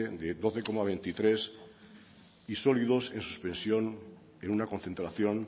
de doce coma veintitrés y sólidos en su expresión de una concentración